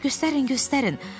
Yox, göstərin, göstərin.